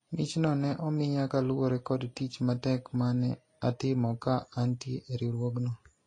michno ne omiya kaluwore kod tich matek mane atimo ka antie e riwruogno